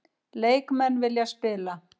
Leikmenn vilja spila